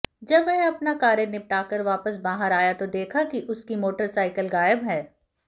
जब वह अपना कार्य निपटाकर वापस बाहर आया तो देखा कि उसकी मोटरसाइकिल गायब है